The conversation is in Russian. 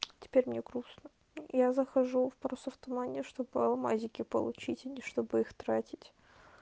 теперь мне грустно я захожу в паруса в тумане чтобы алмазики получить а чтобы их тратить